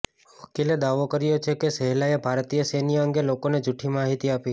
વકીલે દાવો કર્યો છે કે શેહલાએ ભારતીય સૈન્ય અંગે લોકોને જુઠી માહિતી આપી